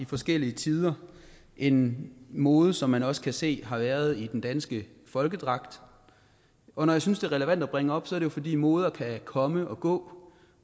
forskellige tider en mode som man også kan se har været i den danske folkedragt når jeg synes det er relevant at bringe op er det jo fordi moder kan komme og gå